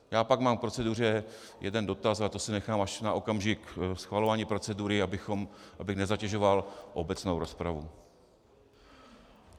Já pak mám k proceduře jeden dotaz, ale to si nechám až na okamžik schvalování procedury, abych nezatěžoval obecnou rozpravu.